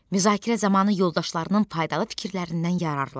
Müzakirə zamanı yoldaşlarının faydalı fikirlərindən yararlan.